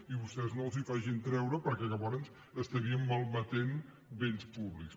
i vostès no els les facin treure perquè llavors malmetríem béns públics